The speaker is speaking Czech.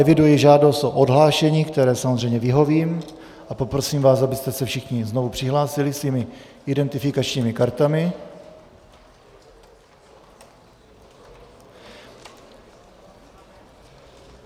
Eviduji žádost o odhlášení, které samozřejmě vyhovím, a poprosím vás, abyste se všichni znovu přihlásili svými identifikačními kartami.